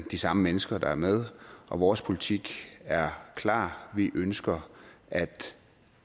de samme mennesker der er med vores politik er klar vi ønsker at